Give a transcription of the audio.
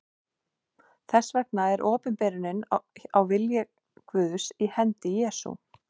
Þess vegna er opinberunin á vilja Guðs í hendi Jesú.